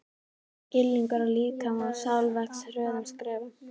Skilningur á líkama og sál vex hröðum skrefum.